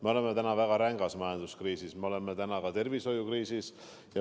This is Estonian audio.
Me oleme täna väga rängas majanduskriisis, me oleme ka tervishoiukriisis.